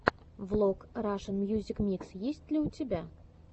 влог рашен мьюзик микс есть ли у тебя